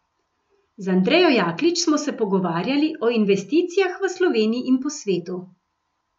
Z Andrejo Jaklič smo se pogovarjali o investicijah v Sloveniji in po svetu.